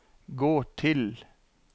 gå til